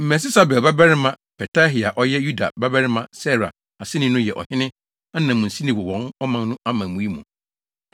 Mesesabel babarima Petahia a ɔyɛ Yuda babarima Serah aseni no yɛ ɔhene ananmusini wɔ ɔman no amammui mu.